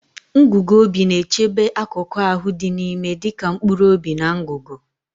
Ngugu obi na-echebe akụkụ ahụ dị n'ime dịka mkpụrụ obi na ngụgụ.